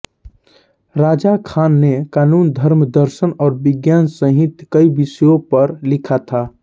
रजा खान ने कानून धर्म दर्शन और विज्ञान सहित कई विषयों पर लिखा था